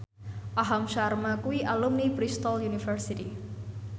Aham Sharma kuwi alumni Bristol university